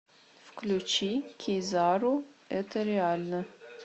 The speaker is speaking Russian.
включи кизару это реально